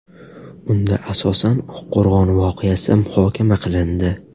Unda asosan Oqqo‘rg‘on voqeasi muhokama qilindi .